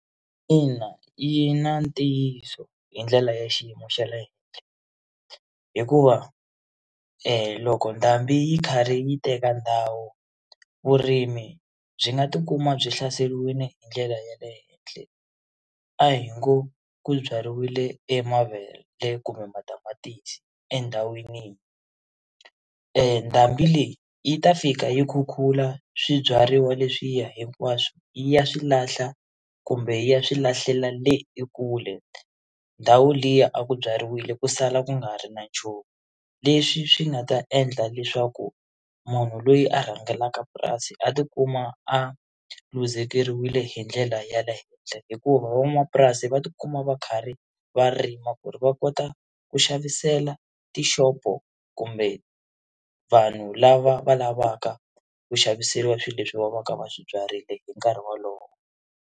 Ina, yi na ntiyiso hi ndlela ya xiyimo xa le henhla hikuva loko ndhambi yi karhi yi teka ndhawu vurimi byi nga tikuma byi hlaseriwile hi ndlela ya le henhla a hi ngo ku byariwile emavele kumbe matamatisi endhawini ndhambi leyi yi ta fika yi khukhula swibyariwa leswiya hinkwaswo yi ya swilahla kumbe yi ya swi lahlela le ekule ndhawu liya a ku byariwile ku sala ku nga ri na nchumu leswi swi nga ta endla leswaku munhu loyi a rhangelaka purasi a tikuma a luzekeriwile hi ndlela ya le henhla hikuva van'wamapurasi va tikuma va karhi va rima ku ri va kota ku xavisela tishopo kumbe vanhu lava va lavaka ku xaviseriwa swilo leswi va va ka va swibyarile hi nkarhi wolowo.